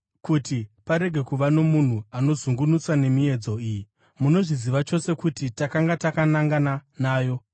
kuti parege kuva nomunhu anozungunutswa nemiedzo iyi. Munozviziva chose kuti takanga takanangana nayo.